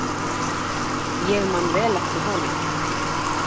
Ég man vel eftir honum.